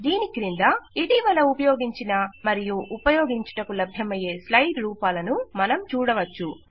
దీని క్రింద ఇటీవల ఉపయోగించిన మరియు ఉపయోగించుటకు లభ్యమయ్యే స్లైడ్ రూపాలను మనం చూడవచ్చు